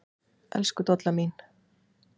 Elsku Dolla mín.